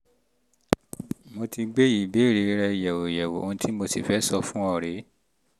mo ti gbé ìbéèrè rẹ yẹ̀wò yẹ̀wò ohun tí mo sì fẹ́ sọ fún ọ rè é